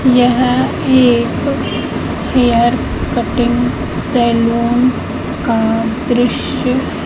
यह एक hair cutting salon का दृश्य--